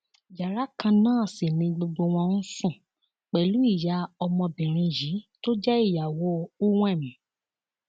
yàrá kan náà sì ni gbogbo wọn ń sùn pẹlú ìyá ọmọbìnrin yìí tó jẹ ìyàwó uwem